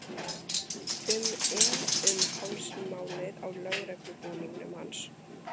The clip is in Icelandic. um inn um hálsmálið á lögreglubúningnum hans.